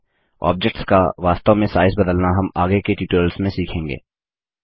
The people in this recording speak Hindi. ऑब्जेक्ट्स का वास्तव में साइज़ बदलना हम आगे के ट्यूटोरियल्स में सीखेंगे